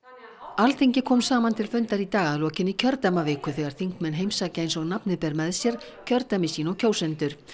Alþingi kom saman til fundar í dag að lokinni kjördæmaviku þegar þingmenn heimsækja eins og nafnið ber með sér kjördæmi sín og kjósendur